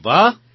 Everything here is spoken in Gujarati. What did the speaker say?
અરે વાહ